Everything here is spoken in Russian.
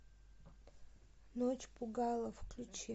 ночь пугала включи